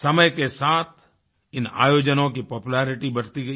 समय के साथ इन आयोजनों की पॉपुलेरिटी बढ़ती गई